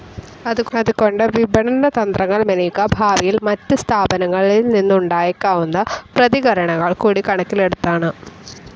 അതുകൊണ്ട് വിപണനതന്ത്രങ്ങൾ മെനയുക ഭാവിയിൽ മറ്റ് സ്ഥാപനങ്ങളിൽനിന്നുമുണ്ടായേക്കാവുന്ന പ്രതികരണങ്ങൾ കൂടി കണക്കിലെടുത്താണ്.